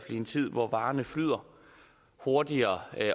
i en tid hvor varerne flyder hurtigere